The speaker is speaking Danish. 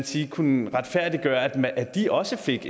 sige kunne retfærdiggøre at de også fik